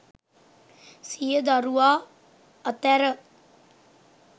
සිය දරුවා අතැර